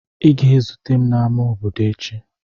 Ị ga-ezute m n'ámá obodo echi!